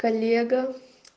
коллега